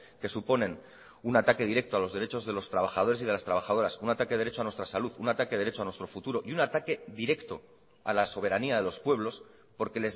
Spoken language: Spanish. que suponen un ataque directo a los derechos de los trabajadores y de las trabajadoras un ataque derecho a nuestra salud un ataque derecho a nuestro futuro y un ataque directo a la soberanía de los pueblos porque